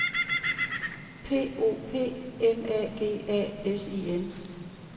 P O P M A G A S I N